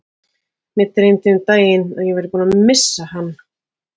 Mig dreymdi um daginn að ég væri búinn að missa hann.